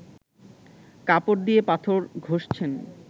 কাপড় দিয়ে পাথর ঘষছেন